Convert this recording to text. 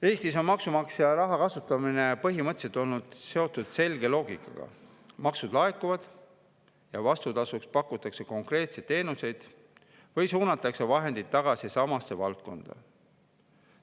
Eestis on maksumaksja raha kasutamine põhimõtteliselt olnud seotud selge loogikaga: maksud laekuvad ja vastutasuks pakutakse konkreetseid teenuseid või suunatakse vahendeid tagasi samasse valdkonda.